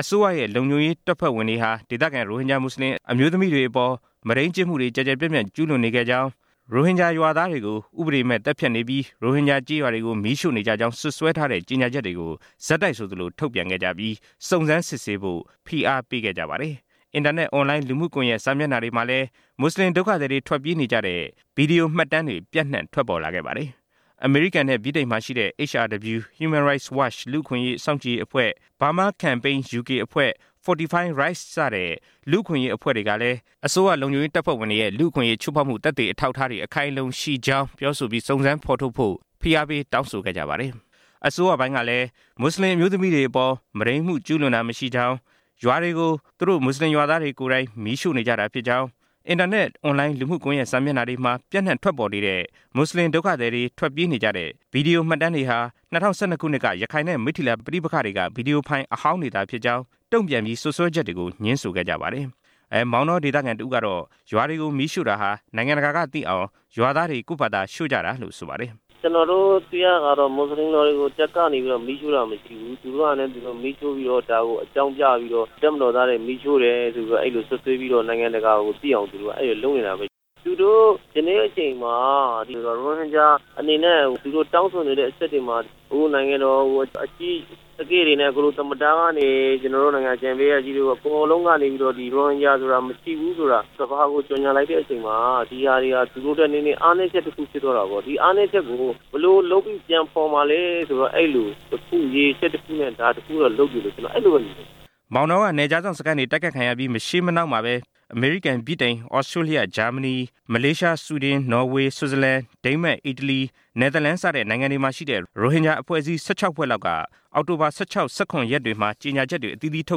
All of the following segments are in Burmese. အစိုးရရဲ့ လုံခြုံရေးတပ်ဖွဲ့တွေက ဒေသခံ ရိုဟင်ဂျာ မွတ်ဆလင် အမျိုးသမီးတွေအပေါ် မုဒိန်းမှုတွေ ကျယ်ကျယ်ပြန့်ပြန့် ကျူးလွန်နေကြောင်း၊ ရိုဟင်ဂျာရွာသားတွေကို ဥပဒေမဲ့သတ်ဖြတ်နေပြီး ရိုဟင်ဂျာ ကျေးရွာတွေကို မီးရွှိ့နေကြကြောင်း စွပ်စွဲထားတဲ့ ကြေညာချက်တွေကို ဆက်တိုက်ဆိုသလို ထုတ်ပြန်ပြီး စုံစမ်းစစ်ဆေးဖို့ ဖိအားပေးခဲ့ကြပါတယ်။ အင်တာနက် အွန်လိုင်းလူမှုကွန်ရက် စာမျက်နှာတွေမှာလည်း မွတ်ဆလင် ဒုက္ခသည်တွေ ထွက်ပြေးနေကြတဲ့ ဗီဒီယိုမှတ်တမ်းတွေ ပြန့်နှံ့ထွက်ပေါ်လာခဲ့ပါတယ်။ အမေရိကန်နဲ့ ဗြိတိန်မှာရှိတဲ့ HRW (Human Rights Watch) လူ့အခွင့်အရေး စောင့်ကြည့်ရေးအဖွဲ့၊ Burma Campaign UK အဖွဲ့၊ Fortify Rights စတဲ့ လူအခွင့်အရေးအဖွဲ့တွေကလည်း အစိုးရလုံခြုံရေးတပ်ဖွဲ့ဝင်တွေရဲ့ လူ့အခွင့်အရေးချိုးဖောက်မှု သက်သေအထောက်အထားတွေ အခိုင်အလုံရှိကြောင်း ပြောဆိုပြီး စုံစမ်းဖော်ထုတ်ဖို့ ဖိအားပေးတောင်းဆိုခဲ့ကြပါတယ်။ အစိုးရပိုင်းကလည်း မွတ်ဆလင်အမျိုးသမီးတွေ အပေါ် မုဒိန်းမှုကျူးလွန်တာ မရှိကြောင်း၊ ရွာတွေကို သူတို့မွတ်ဆလင်ရွာသားတွေကိုယ်တိုင် မီးရွှိ့နေကြတာ ဖြစ်ကြောင်း၊ အင်တာနက် အွန်လိုင်းလူမှုကွန်ရက် စာမျက်နှာတွေ မှာပြန့်နှံ့ထွက်ပေါ်နေတဲ့ မွတ်ဆလင်ဒုက္ခသည်တွေ ထွက်ပြေးနေကြတဲ့ ဗီဒီယိုမှတ်တမ်းတွေဟာ ၂၀၁၂ ခုနှစ်က ရခိုင်နဲ့ မိတ္ထိလာပဋိပက္ခတွေက ဗီဒီယိုဖိုင်အဟောင်းတွေသာဖြစ်ကြောင်း တုံ့ပြန်ပြီး စွပ်စွဲချက်တွေကို ငြင်းဆိုခဲ့ပါတယ်။ မောင်တော ဒေသခံတစ်ဦးကတော့ ရွာတွေကို မီးရွှိ့တာဟာ နိုင်ငံတကာကသိအောင် ရွာသားတွေ ကိုယ်ဖာသာ ရွှိ့ကြတာလို့ ဆိုပါတယ်။ “ကျွန်တော်တို့ သိရတာကတော့ မွတ်ဆလင်ရွာတွေကို တပ်ကနေပြီးတော့ မီးရွှိ့တာမရှိဘူး၊ သူတို့ဟာနဲ့ သူတို့ မီးရွှိ့ပြီးတော့ ဒါကိုအကြောင်းပြပြီးတော့ တပ်မတော်သားတွေ မီးရွှိ့တယ်ဆိုပြီးတော့ အဲလိုစွပ်စွဲပြီးတော့ နိုင်ငံတကာ သိအောင် သူတို့က အဲလိုလုပ်နေတာပဲ” “သူတို့ ယနေ့အချိန်မှာ ရိုဟင်ဂျာအနေနဲ့ သူတို့တောင်းဆိုနေတဲ့အချက်တွေမှာ အခုနိုင်ငံတော် အကြီးအကဲတွေနဲ့ သမ္မတကနေ ကျွန်တော်တို့ နိုင်ငံတော်အကြံပေးအရာရှိတွေအကုန်လုံးကနေပြီးတော့ ဒီရိုဟင်ဂျာဆိုတာ မရှိဘူးဆိုတာ ကမ္ဘာကို ကြေညာလိုက်တဲ့အချိန်မှာ ဒီဟာတွေဟာ သူတို့အတွက် နည်းနည်းအားနည်းချက် ဖြစ်သွားတာပေါ့။ ဒီအားနည်းချက်ကို ဘယ်လိုလုပ်ပြီး ပြန်ဖော်မှာလဲဆိုတော့ အဲလို ရည်ရွယ်ချက်တစ်ခုနဲ့ ဒါကိုလုပ်တယ်လို့ ကျွန်တော်အဲလိုပဲ မြင်တယ်” မောင်တောက နယ်ခြားစောင့်စခန်းတွေ တိုက်ခိုက်ခံရပြီး မရှေးမနှောင်းမှာပဲ အမေရိကန်၊ ဗြိတိန်၊ သြစတြေးလျ၊ ဂျာမနီ၊ မလေးရှား၊ ဆွီဒင်၊ နော်ဝေ၊ ဆွတ်ဇာလန်၊ ဒိန်းမတ်၊ အီတလီ၊ နယ်သာလန် စတဲ့ နိုင်ငံတွေမှာရှိတဲ့ ရိုဟင်ဂျာအဖွဲ့အစည်းတွေက ၁၆ ဖွဲ့လောက်က အောက်တိုဘာ ၁၆၊ ၁၇ ရက်တွေမှာ ကြေညာချက်တွေ ထု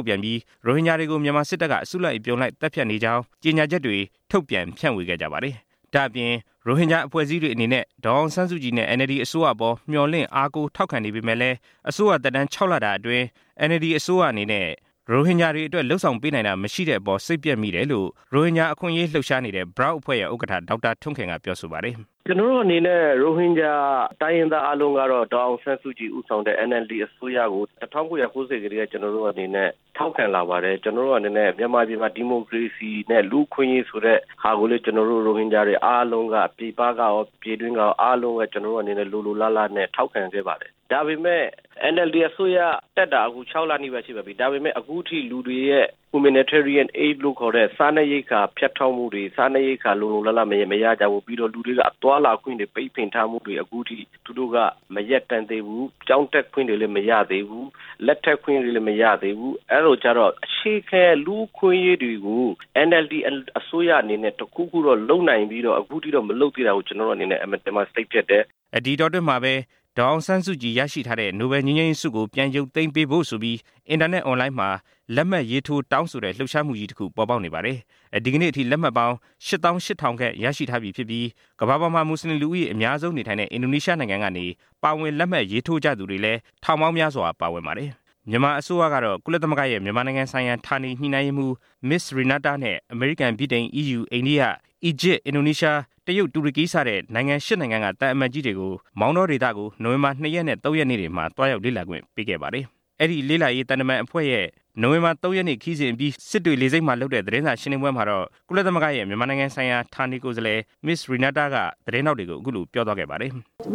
တ်ပြန်ပြီး ရိုဟင်ဂျာတွေကို မြန်မာစစ်တပ်က အစုအပြုံလိုက် သတ်ဖြတ်ခံနေရကြောင်း ကြေညာချက်တွေထုတ်ပြန် ဖြန့်ဝေခဲ့ကြပါတယ်။ ဒါ့ပြင် ရိုဟင်ဂျာအဖွဲ့အစည်းတွေအနေနဲ့ ဒေါ်အောင်ဆန်းစုကြည်နဲ့ NLD အစိုးရအပေါ် အားကိုးမျှော်လင့်ထောက်ခံနေပေမယ့်လည်း အစိုးရသက် ၆ လအတွင်း NLD အစိုးရအနေနဲ့ ရိုဟင်ဂျာတွေအတွက် လုပ်ဆောင်ပေးနိုင်တာ မရှိတဲ့အပေါ် စိတ်ပျက်မိတယ်လို့ ရိုဟင်ဂျာအခွင့်အရေးလှုပ်ရှားနေတဲ့ BROUK အဖွဲ့ ဥက္ကဌ ဒေါက်တာ ထွန်းခင်က ပြောပါတယ်။ “ကျွန်တော်တို့အနေနဲ့ ရိုဟင်ဂျာတိုင်းရင်းသားအားလုံးက ဒေါ်အောင်ဆန်းစုကြည်ဦးဆောင်တဲ့ NLD အစိုးရကို ၁၉၉၀ ခုနှစ်ကတည်းက ကျွန်တော်တို့အနေနဲ့ ထောက်ခံလာပါတယ်။ ကျွန်တော်တို့အနေနဲ့ မြန်မာပြည်မှာ ဒီမိုကရေစီနဲ့ လူ့အခွင့်အရေးဆိုတဲ့ဟာကိုလည်း ကျွန်တော်တို့ ရိုဟင်ဂျာ်တွေအားလုံးက ပြည်ပကရော ပြည်တွင်းကရော အားလုံးက ကျွန်တော်တို့အနေနဲ့ လိုလိုလားလားနဲ့ ထောက်ခံခဲ့ပါတယ်။ ဒါပေမယ့် NLD အစိုးရတက်တာ အခု ၆ လနီးပါး ရှိပါပြီ၊ ဒါပေမယ့် အခုထိ Humanitarian Aid လို့ ခေါ်တဲ့ စားနပ်ရိက္ခာ ဖြတ်တောက်မှုတွေ စားနပ်ရိက္ခာ လုံလုံလောက်လောက် မရကြဘူး၊ ပြီးတော့ လူတွေက သွားလာခွင့်တွေ ပိတ်ပင်ထားမှုတွေ အခုထိသူတို့က မရပ်တံ့သေးဘူး။ ကျောင်းတက်ခွင့်တွေလည်း မရသေးဘူး၊ လက်ထပ်ခွင့်တွေလည်း မရသေးဘူး၊ အဲလိုကျတော့ အခြေခံလူ့အခွင့်အရေးတွေကို NLD အစိုးရအနေနဲ့တစ်ခုခုတော့ လုပ်နိုင်ပြီးတော့ အခုထိတော့ မလုပ်သေးတာကို ကျွန်တော်တို့အနေနဲ့ အင်မတန်မှ စိတ်ပျက်တယ်” ဒီအတောအတွင်းမှာပဲ ဒေါ်အောင်ဆန်းစုကြည် ရရှိထားတဲ့ နိုဘယ်ငြိမ်းချမ်းရေးဆုကို ပြန်ရုတ်သိမ်းပေးဖို့ဆိုပြီး အင်တာနက်မှာ လက်မှတ်ရေးထိုးတောင်းဆိုတဲ့ လှုပ်ရှားမှုကြီးတစ်ခု ပေါ်ပေါက်နေပါတယ်။ ဒီကနေ့အထိ လက်မှတ်ပေါင်း ၈၈၀၀၀ ခန့် ရရှိထားပြီဖြစ်ပြီး၊ ကမ္ဘာပေါ်မှာ မွတ်ဆလင်လူဦးရေအများဆုံးနေထိုင်တဲ့ အင်ဒိုနီးရှားနိုင်ငံကနေ ပါဝင်လက်မှတ်ရေးထိုးသူကြတွေလည်း ထောင်ပေါင်းများစွာ ပါဝင်ပါတယ်။ မြန်မာအစိုးရကတော့ ကုလသမဂ္ဂရဲ့ မြန်မာနိုင်ငံဆိုင်ရာ ဌာနေညှိနှိုင်းရေးမှူး Ms. Renata နဲ့ အမေရိကန်၊ ဗြိတိန်၊ အီးယူ၊ အိန္ဒိယ၊ အီဂျစ်၊ အင်ဒိုနီးရှား၊ တရုတ်၊ တူရကီ စတဲ့ နိုင်ငံ ၈ နိုင်ငံက သံအမတ်ကြီးတွေကို နိုဝင်ဘာ ၂ ရက်နေ့နဲ့ ၃ ရက်နေ့တွေမှာ သွားရောက်လေ့လာခွင့်ပေးခဲ့ပါတယ်။ အဲဒီလေ့လာရေး သံတမန် အဖွဲ့ရဲ့ နိုဝင်ဘာ ၃ရက်နေ့ ခရီးစဉ်အပြီး စစ်တွေလေဆိပ်မှာ လုပ်တဲ့ သတင်းစာရှင်းလင်းပွဲမှာတော့ ကုလသမဂ္ဂရဲ့ မြန်မာနိုင်ငံဆိုင်ရာ ဌာနကိုယ်စားလှယ် Ms. Renata က သတင်းထောက်တွေကို အခုလိုပြောသွားခဲ့ပါတယ်။ “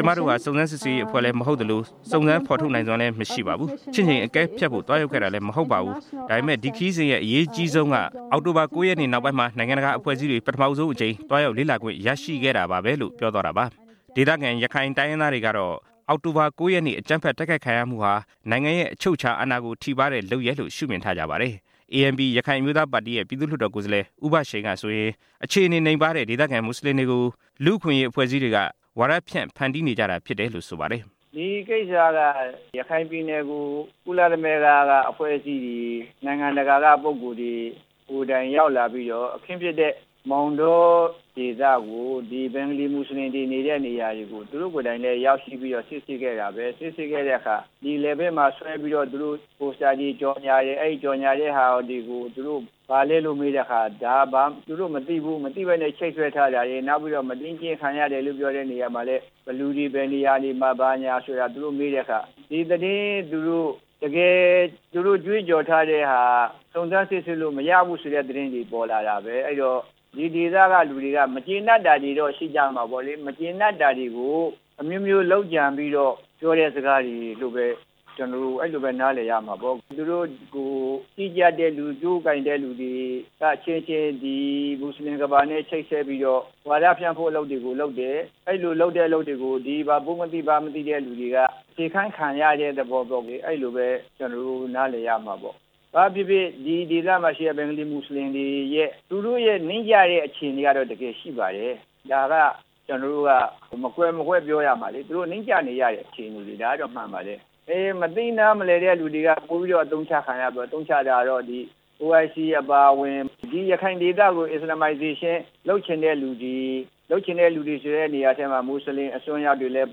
ကျမတို့ဟာ စုံစမ်းစစ်ဆေးရေးအဖွဲ့လည်း မဟုတ်သလို၊ စုံစမ်းဖော်နိုင်စွမ်းလည်း မရှိပါဘူး။ ချင့်ချိန်အကဲဖြတ်ဖို့ သွားရောက်ခဲ့တာလည်း မဟုတ်ပါဘူး။ ဒါပေမယ့် ဒီခရီးစဉ်ရဲ့အရေးကြီးဆုံးက အောက်တိုဘာ ၉ ရက်နေ့နောက်ပိုင်းမှာ နိုင်ငံတကာအဖွဲ့အစည်းတွေကို ပထမဆုံးအကြိမ် သွားရောက်လေ့လာခွင့်ရခဲ့တာပါဘဲ” ဒေသခံရခိုင်တိုင်းရင်းသားတွေကတော့ အောက်တိုဘာ ၉ ရက်နေ့ အကြမ်းဖက်တိုက်ခိုက်ခံရမှုဟာ အချုပ်အချုပ်အာဏာကိုထိပါးတဲ့လုပ်ရပ်လို့ ရှုမြင်ထားကြပါတယ်။ ANP ရခိုင်အမျိုးသားပါတီရဲ့ ပြည်သူ့လွှတ်တော်ကိုယ်စားလှယ် ဦးဘရှိန်ကဆိုရင် အခြေအနေနိမ့်ပါးတဲ့ ဒေသခံမွတ်ဆလင်တွေကို လူ့အခွင့်အရေးအဖွဲ့တွေက အသုံးချပြီး ဝါဒဖြန့်ဖန်တီးနေကြတာလို့ ဆိုပါတယ်။ “ဒီကိစ္စက ရခိုင်ပြည်နယ်ကို ကုလသမဂ္ဂကအဖွဲ့အစည်းတွေ၊ နိုင်ငံတကာက ပုဂ္ဂိုလ်တွေကိုယ်တိုင်ရောက်လာပြီးတော့ အခင်းဖြစ်တဲ့မောင်တောဒေသကို ဒီဘင်္ဂါလီမွတ်ဆလင်တွေနေတဲ့ နေရာတွေကို သူတို့ကိုယ်တိုင်လည်းရောက်ရှိပြီးတော့ စစ်ဆေးခဲ့တာပဲ။ စစ်ဆေးခဲ့တဲ့အခါ လည်ပင်းမှာဆွဲပြီးတော့ ပိုစတာတွေ၊ ကြော်ငြာတွေ အဲဒီကြော်ငြာတဲ့ဟာတွေကို သူတို့ ဘာလဲလို့မေးတဲ့အခါ သူတို့မသိဘူး၊ မသိပဲနဲ့ ချိတ်ဆွဲထားတာရယ်၊ နောက်ပြီးတော့ မုဒိန်းကျင့်ခံရတယ်လို့ ပြောတဲ့နေရာမှာလည်း ဘယ်သူတွေ ဘယ်နေရာမှာ ဘာညာသူတို့မေးတဲ့အခါ ဒီသတင်းသူတို့ တကယ်သူတို့ ကြွေးကြော်ထားတဲ့ဟာ စုံစမ်းစစ်ဆေးလို့ မရဘူးဆိုတဲ့သတင်းတွေပေါ်လာပဲ။ အဲဒီတော့ ဒီဒေသကလူတွေက မကြေနပ်တာတွေတော့ ရှိကြမှာပေါ့လေ။ မကြေနပ်တာတွေကို အမျိုးမျိုးလုပ်ကြံပြီးတော့ ပြောတဲ့စကားတွေလို့ပဲ ကျွန်တော်တို့ အဲလိုပဲ နားလည်ရမှာပေါ့၊ သူတို့ကို ကြီးကြပ်တဲ့သူ ကြိုးကိုင်တဲ့သူတွေက အချင်းချင်း ဒီမွတ်ဆလင်ကမ္ဘာနဲ့ ချိတ်ဆက်ပြီးတော့ ဝါဒဖြန့်ဖို့ အလုပ်တွေကို လုပ်တယ်၊ အဲဒီလိုလုပ်တဲ့အလုပ်တွေကို ဒီမှာ ဘုမသိဘမသိတဲ့လူတွေက စေခိုင်ခံရတဲ့သဘောပေါ့လေ၊ အဲဒီလိုပဲ ကျွန်တော်တို့ နားလည်ရမှာပေါ့” “ဘာပဲဖြစ်ဖြစ် ဒီဒေသမှာရှိတဲ့ ဘင်္ဂါလီ မွတ်ဆလင်တွေရဲ့ သူတို့ရဲ့ နိမ့်ကျတဲ့အခြေအနေကတော့ တကယ်ရှိပါတယ်၊ ဒါက ကျွန်တော်တို့က မကွယ်မဝှက်ပြောရမှာလေ၊ သူတို့နိမ့်ကျနေရတဲ့အခြေအနေ ဒါကတော့ မှန်ပါတယ်၊ မသိနားမလည်တဲ့သူတွေကတော့ ပိုပြီးတော့ အသုံးချခံရတာပေါ့၊ အသုံးချတာကတော့ OIC အပါအဝင် ဒီရခိုင်ဒေသကို Islamization လုပ်ချင်တဲ့လူတွေ၊ လုပ်ချင်တဲ့လူတွေဆိုတဲ့နေရာထဲမှာ မွတ်ဆလင်အစွန်းရောက်တွေလည်း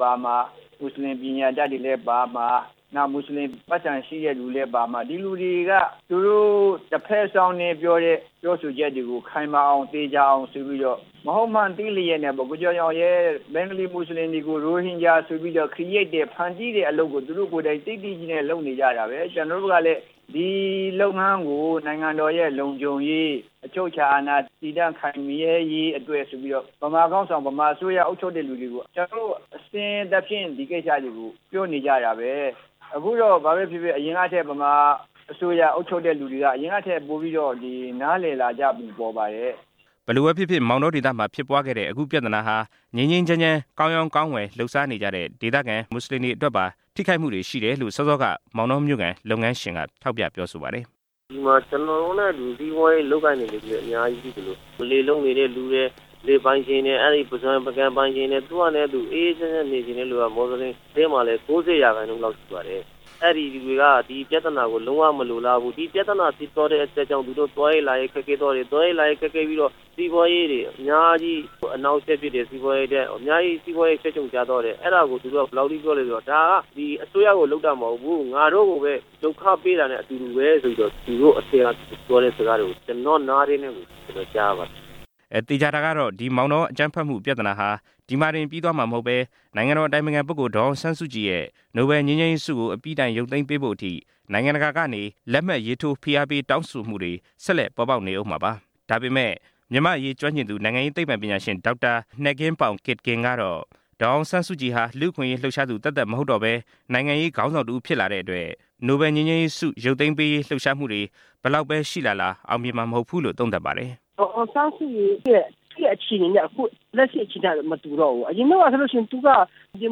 ပါမှာ၊ မွတ်ဆလင်ပညာတတ်တွေလည်းပါမှာ၊ နောက်မွတ်ဆလင် ပိုက်ဆံရှိတဲ့သူတွေလည်းပါမှာ။ ဒီလူတွေက သူတို့ တဖက်စောင်းနင်းပြောတဲ့ ပြောဆိုချက်တွေကို ခိုင်မာအောင် သေချာအောင်ဆိုပြီးတော့ မဟုတ်မှန်းသိလျက်နဲ့ပေါ့၊ ဘင်္ဂါလီမွတ်ဆလင်တွေကို ရိုဟင်ဂျာမွတ်ဆလင်ဆိုပြီးတော့ ဖန်တီးတဲ့ အလုပ်ကို သူတို့ကိုယ်တိုင် သိသိကြီးနဲ့ လုပ်နေကြတာပဲ၊ ကျွန်တော်တို့ကလည်း ဒီလုပ်ငန်းကို နိုင်ငံတော်ရဲ့ လုံခြုံရေး၊ အချုပ်အခြာအာဏာတည်တံ့ခိုင်မြဲရေးအတွက်ဆိုပြီးတော့ ဗမာခေါင်းဆောင်၊ ဗမာအစိုးရအုပ်ချုပ်တဲ့သူတွေကို ကွျှန်တော်တို့ အစဉ်သဖြင့် ဒီကိစ္စတွေကို ပြောနေကြတာပဲ။ အခုတော့ ဘာပဲဖြစ်ဖြစ် အရင်ကထက် ဗမာအစိုးရ အုပ်ချုပ်တဲ့သူတွေက အရင်ကထက်ပိုပြီးတော့ နားလည်လာကြပုံပေါ်ပါတယ်” ဘယ်လိုပဲဖြစ်ဖြစ် မောင်တောဒေသမှာ ဖြစ်ပွားခဲ့တဲ့ အခုပြဿနာဟာ ငြိမ်းငြိမ်းချမ်းချမ်း ကောင်းရောင်း ကောင်းဝယ် လုပ်စားနေတဲ့ ဒေသခံမွတ်ဆလင်တွေအတွက်ပါ ထိခိုက်မှုတွေရှိတယ်လို့ စောစောက မောင်တောမြို့ခံလုပ်ငန်းရှင်က ပြောပါတယ်။ “ဒီမှာ ကျွန်တော်တို့နဲ့ အတူတူ စီးပွားရေးလုပ်ကိုင်နေသူတွေလည်း အများကြီးရှိသလို လယ်လုပ်နေတဲ့သူတွေ၊ လယ်ပိုင်ရှင်တွေ၊ ပုစွန်ကန်ပိုင်ရှင်တွေ၊ သူ့ဟာနဲ့သူ အေးအေးချမ်းချမ်းနေချင်တဲ့သူက မွတ်ဆလင်တွေထဲ မှာလည်း ၉၀ ရာခိုင်နှုန်းလောက် ရှိတယ်။ အဲဒီလူတွေက ဒီပြဿနာကို လုံးဝမလိုလားဘူး။ ဒီပြဿနာ ဖြစ်သွားတဲ့အတွက်ကြောင့် သူတို့ သွားရေးလာရေး ခက်ခဲသွားတယ်၊ သွားရေးလာရေး ခက်ခဲပြီးတော့ စီးပွားရေးတွေ အများကြီး အနှောင့်အယှက်ဖြစ်တယ်၊ စီးပွားရေးတွေ အများကြီး ချွတ်ခြုံကျသွားတယ်၊ အဲဒါကို သူတို့က ဘယ်လောက်ထိပြောလဲဆိုတော့ ဒါက ဒီအစိုးရကို လုပ်တာ မဟုတ်ဘူး၊ ငါတို့ကိုပဲ ဒုက္ခပေးတာနဲ့ အတူတူပဲ ဆိုပြီးတော့ သူတို့အထဲက ပြောတဲ့စကားတွေကို ကျွန်တော့နားထဲ ကြားရပါတယ်” သေချာတာကတော့ ဒီမောင်တောအကြမ်းဖက်မှုဟာ ဒီမှာတင်ပြီးသွားမှာမဟုတ်ပဲ နိုင်ငံတော်အတိုင်ပင်ခံပုဂ္ဂိုလ် ဒေါ်အောင်ဆန်းစုကြည်ရဲ့ နိုဘယ်လ်ငြိမ်းချမ်းရေးဆုကို အပြီးတိုင်ရုတ်သိမ်းပေးဖို့အထိ နိုင်ငံတကာကနေ လက်မှတ်ရေးထိုးဖိအားပေးတောင်းဆိုတွေ ဆက်လက်ပေါ်ပေါက်နေဦးမှာပါ။ ဒါပေမယ့် မြန်မာ့အရေးကျွမ်းကျင်သူ နိုင်ငံရေးသိပ္ပံပညာရှင် ဒေါက်တာ နဲ့ဂင်းပေါင် ကစ်ဂင်ကတော့ ဒေါ်အောင်ဆန်းစုကြည်ဟာ ယခင်ကလို ဒီမိုကရေစီ လူ့အခွင့်အရေးလှုပ်ရှားသူသက်သက်မဟုတ်တော့ပဲ နိုင်ငံရေးခေါင်းဆောင်တစ်ဦး ဖြစ်လာတဲ့အတွက် နိုဘယ်လ်ဆု ရုပ်သိမ်းရေးလှုပ်ရှားမှုတွေ ဘယ်လောက်ရှိလာလာ အောင်မြင်မှာ မဟုတ်ဘူးလို့ သုံးသပ်ပါတယ်။ “ဒေါ်အောင်ဆန်းစုကြည်ရဲ့ အရင်က အခြေအနေနဲ့ လက်ရှိအခြေအနေ မတူတော့ဘူး၊ အရင်တုန်းကဆိုလို့ရှိရင်သူက ဒီ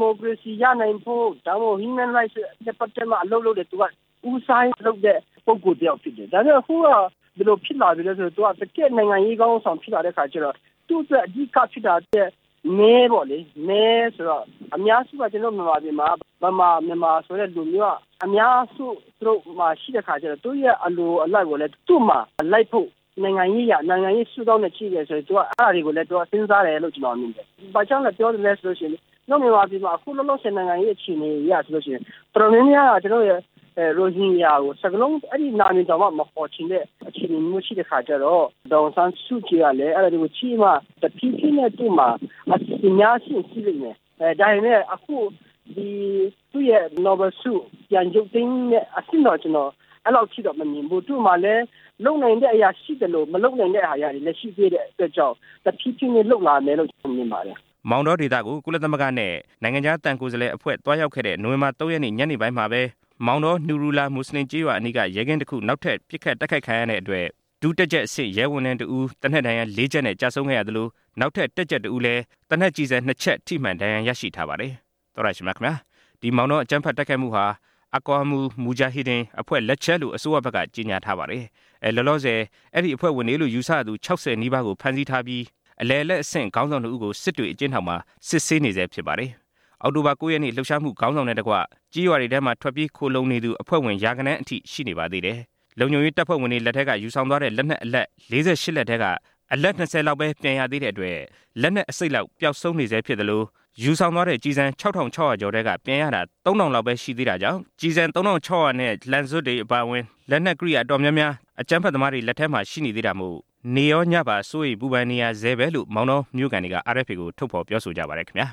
မိုကရေစီရနိုင်ဖို့၊ ဒါမှမဟုတ် လူ့အခွင့်အရေးနဲ့ပတ်သက်ပြီးတော့ အလုပ်လုပ်တယ်၊ ဦးစားပေးလုပ်တဲ့ပုဂ္ဂိုလ်တစ်ယောက်ဖြစ်တယ်၊ ဒါပေမယ့် အခုတော့ ဘယ်လိုဖြစ်လာသလဲဆိုတော့ သူက တကယ့်နိုင်ငံရေးခေါင်းဆောင်ဖြစ်လာတဲ့အခါကျတော့ သူ့အတွက် အဓိကဖြစ်တာက မဲပေါ့လေ၊ မဲဆိုတော့ အများစုက ကျွန်တော်တို့ မြန်မာပြည်မှာက ဗမာ မြန်မာဆိုတဲ့လူမျိုးက အများစု ရှိတဲ့အခါကျတော့ သူတို့ရဲ့ အလိုအလိုက်ကိုလည်း သူ့မှာလိုက်ဖို့ နိုင်ငံရေးအရ၊ နိုင်ငံရေးရှုထောင့်က ကြည့်မယ်ဆိုရင် အဲဒါတွေကိုလည်း သူက စဉ်းစားတယ်လို့ ကျွန်တော်မြင်တယ်။ ဘာကြောင့်ပြောရသလဲဆိုလို့ရှိရင် မြန်မာပြည်မှာ အခုလောလောဆယ် နိုင်ငံရေးအခြေအနေအရဆိုလို့ရှိရင် တော်တော်များများက ရိုဟင်ဂျာကို စကားလုံး အဲဒီနာမည်တောင်မှ မခေါ်ချင်တဲ့ အခြေအနေမျိုးရှိတဲ့အခါကျတော့ ဒေါ်အောင်ဆန်းစုကြည်ကလည်း အဲဒါတွေကိုကြည့်ပြီးမှ တဖြေးဖြေးနဲ့ အစီအစဉ်များ ရှိရင်ရှိလိမ့်မယ်။ ဒါပေမယ့် အခု ဒီသူ့ရဲ့ နိုဘယ်လ်ဆု ပြန်ရုတ်သိမ်းမယ့်အဆင့်တော့ ကျွန်တော် အဲလောက်ထိတော့ မမြင်ဘူး။ သူ့မှာလည်း လုပ်နိုင်တဲ့အရာရှိသလို မလုပ်နိုင်တဲ့အရာတွေကလည်း ရှိသေးတဲ့အတွက်ကြောင့် တဖြေးဖြေးနဲ့လုပ်လာမယ်လို့ ကျွန်တော်မြင်ပါတယ်” မောင်တောကို ကုလသမဂ္ဂနဲ့ သံတမန်အဖွဲ့တွေ မောင်တောကို သွားရောက်ခဲ့တဲ့ နိုဝင်ဘာ ၃ ရက် ညနေပိုင်းမှာ မောင်တော နူရူလာ မွတ်ဆလင်ကျေးရွာအနီးက ရဲကင်းတစ်ခုကို နောက်ထပ်ပစ်ခတ်တိုက်ခိုက်ခံရတဲ့အတွက် ဒုတပ်ကြပ်အဆင့် ရဲဝန်ထမ်းတစ်ဦး သေနတ်ဒဏ်ရာ ၄ ချက်နဲ့ ကျဆုံးခဲ့ရသလို၊ နောက်ထပ် တပ်ကြပ် တစ်ဦးလည်း သေနတ်ဒဏ်ရာ ၂ ချက်ထိမှန်ဒဏ်ရာရရှိထားပါတယ်။ သောတရှင်များခင်ဗျား ဒီမောင်တောအကြမ်းဖက်တိုက်ခိုက်မှုဟာ Aqa Mul Mujahidin အဖွဲ့လက်ချက်လို့ အစိုးရဘက်က ကြေညာထားပါတယ်။ လောလောဆယ် အဲဒီအဖွဲ့ဝင်တွေလို့ ယူဆရသူ ၆၀ နီးပါးကို ဖမ်းဆီးထားပြီး၊ အလယ်အလတ်အဆင့် ခေါင်းဆောင် ၂ ဦးကို စစ်တွေအကျဉ်းထောင်မှာ စစ်ဆေးနေဆဲဖြစ်ပါတယ်။ အောက်တိုဘာ ၉ ရက်နေ့ လှုပ်ရှားမှုခေါင်းဆောင်နဲ့တကွ ရွာတွေထဲမှာ ထွက်ပြေးခိုလှုံနေသူ အဖွဲ့ဝင် ရာဂဏန်းအထိရှိနေပါသေးတယ်။ လုံခြုံရေးတပ်ဖွဲ့ဝင်တွေလက်ထဲက ယူဆောင်သွားတဲ့ လက်နက် ၄၈ လက်ထဲက အလက် ၂၀ လောက်ပဲ ပြန်ရသေးတဲ့အတွက် လက်နက် အစိတ်လောက် ပျောက်နေသေးသလို ကျော်၊ ယူဆောင်သွားတဲ့ ကျည်ဆန် ၆၆၀၀ ကျော်ထဲက ပြန်ရတာ ၃၀၀၀ လောက်ပဲရှိသေးတာကြောင့် ကျည်ဆန် ၃၆၀၀လောက်နဲ့ လှံစွပ်တွေအပါအဝင် လက်နက်ကိရိယာအတော်များများ အကြမ်းဖက်သမားတွေ လက်ထဲမှာ ရှိသေးတာမို့ နေ့ရောညပါ စိုးရိမ်ပူပန်နေရဆဲပဲလို့ မောင်တောဒေသခံတွေက RFA ကို ထုတ်ဖော်ပြောဆိုကြပါတယ် ခင်ဗျာ